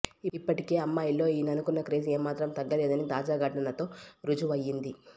ఇప్పటికే అమ్మాయిల్లో ఈయనకున్న క్రేజ్ ఏమాత్రం తగ్గలేదని తాజా ఘటన తో రుజువుఅయ్యింది